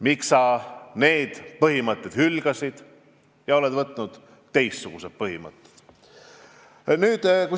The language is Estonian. Miks sa need põhimõtted hülgasid ja oled omaks võtnud teistsugused põhimõtted?